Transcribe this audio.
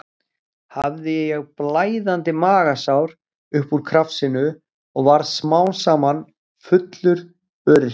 Hafði ég blæðandi magasár upp úr krafsinu og varð smám saman fullur öryrki.